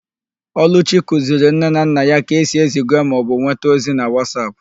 Ọlụchi kụziri nne na nna ya ka esi eziga maọbụ nweta ọzi na Wasap